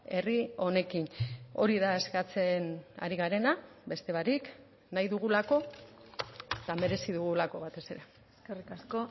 herri honekin hori da eskatzen ari garena beste barik nahi dugulako eta merezi dugulako batez ere eskerrik asko